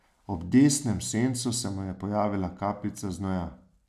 Ob desnem sencu se mu je pojavila kapljica znoja.